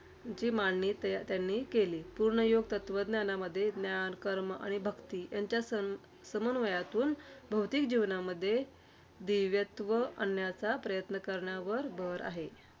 ची मांडणी त्यांनी केली. पूर्णयोग तत्त्वज्ञानामध्ये ज्ञान, कर्म आणि भक्ती यांच्या सम समन्वयातून, भौतिक जीवनामध्ये दिव्यत्व आणण्याच्या प्रयत्न करण्यावर भर आहे.